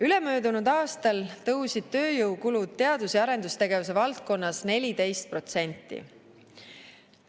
Ülemöödunud aastal tõusid tööjõukulud teadus‑ ja arendustegevuse valdkonnas 14%.